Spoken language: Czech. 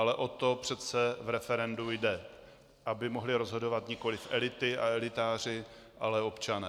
Ale o to přece v referendu jde, aby mohli rozhodovat nikoliv elity a elitáři, ale občané.